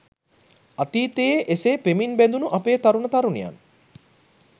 අතීතයේ එසේ පෙමින් බැඳුණු අපේ තරුණ තරුණියන්